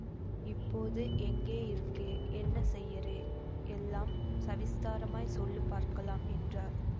இப்போது எங்கே இருக்கே என்ன செய்யறே எல்லாம் சவிஸ்தாரமாய்ச் சொல்லு பார்க்கலாம் என்றார்